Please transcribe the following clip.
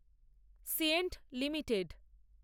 সিয়েন্ট limited